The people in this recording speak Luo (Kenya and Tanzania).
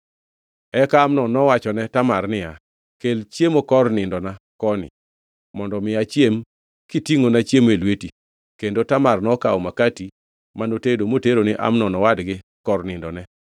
Eka Amnon nowachone Tamar niya, “Kel chiemo kor nindona koni mondo mi achiem kitingʼona chiemo e lweti.” Kendo Tamar nokawo makati mano tedo motero ni Amnon owadgi kor nindone.